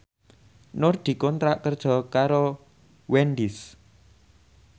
Nur dikontrak kerja karo Wendys